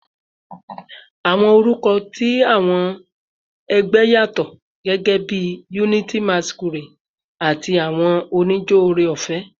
Awọn orukọ ti awọn ẹgbẹ yatọ, gẹgẹbi "Unity Masquerade" tabi "Awọn onijo Ore-ọfẹ."